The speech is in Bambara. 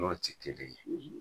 N'ɔ ti kelen ye